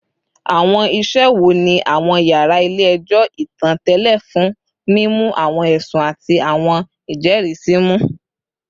Awọn iṣe wo ni awọn yara ile-ẹjọ itan tẹle fun mimu awọn ẹsun ati awọn ijẹrisi mu?